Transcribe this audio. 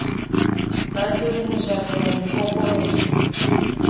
batleng ho jarelwa mefokolo ke